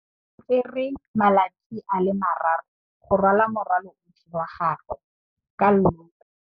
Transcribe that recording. O tsere malatsi a le marraro go rwala morwalo otlhe wa gagwe ka llori.